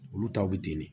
Olu taw bɛ di ne